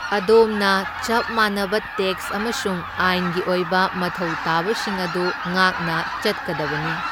ꯑꯗꯣꯝꯅ ꯆꯞ ꯃꯥꯟꯅꯕ ꯇꯦꯛꯁ ꯑꯃꯁꯨꯡ ꯑꯥꯏꯟꯒꯤ ꯑꯣꯏꯕ ꯃꯊꯧ ꯇꯥꯕꯁꯤꯡ ꯑꯗꯨ ꯉꯥꯛꯅ ꯆꯠꯀꯗꯕꯅꯤ꯫